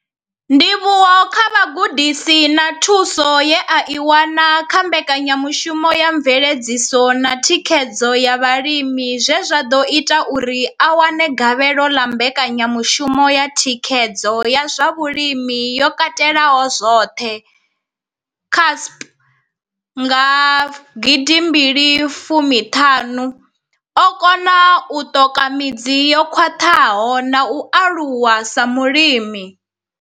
Ndivhuwo kha vhugudisi na thuso ye a i wana kha Mbekanya mushumo ya Mveledziso na Thikhedzo ya Vhalimi zwe zwa ḓo ita uri a wane gavhelo ḽa Mbekanya mushumo ya Thikhedzo ya zwa Vhulimi yo Katelaho zwoṱhe, CASP, nga gidi mbili fumi thanu, o kona u ṱoka midzi yo khwaṱhaho na u aluwa sa mulimi.